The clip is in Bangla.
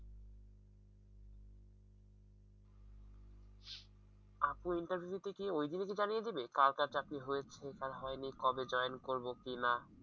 আপু interview তে কি ওই দিনই কি জানিয়ে দিবে কার কার চাকরি হয়েছে কার হয়নি কবে join করব কিনা।